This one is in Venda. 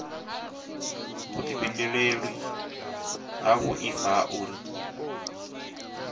vhuifhinduleli ha muaifa ha uri